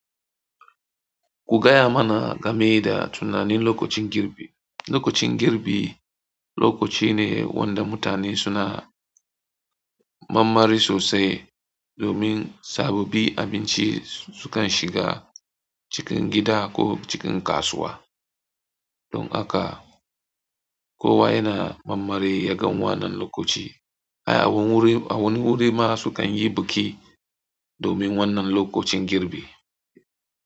Ku gaya mana game da tunanin lokacin girbi. Lokacin girbi lokaci ne wanda mutane suna manmari sosai domin sababbi abinci sukan shiga cikin gida ko cikin kasuwa. Don haka kowa yana manmari yagan wannan lokaci. Ai a wani wuri ma su kan yi biki domin wannan lokacin girbi.